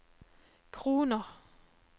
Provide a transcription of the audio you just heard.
kroner